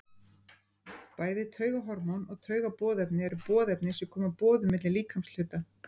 Bæði taugahormón og taugaboðefni eru boðefni sem koma boðum milli líkamshluta.